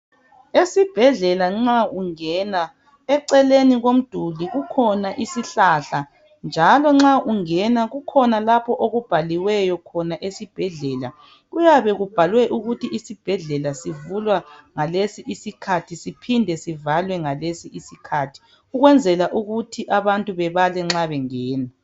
Esibhedlela nxa ungena eceleni komduli kukhona isihlahla njalo nxa ungena kukhona lapho okubhalwe khona esibhedlela kuyabe kubhaliwe ukuthi isibhedle sivula ngalesi isikhathi phide sivalwe ngalesi isikhathi ukwenzela ukuthi abantu babale nxa bengena